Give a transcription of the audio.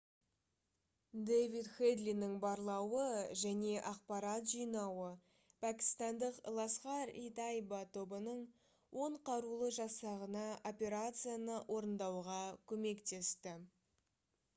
дэвид хэдлидің барлауы және ақпарат жинауы пәкістандық «ласхар-и-тайба» тобының 10 қарулы жасағына операцияны орындауға көмектесті